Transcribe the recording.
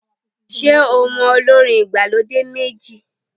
Ṣé o mọ olórin ìgbàlódé méjì?